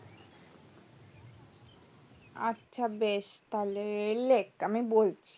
আচ্ছা বেশ তাহলে লেখ আমি বলছি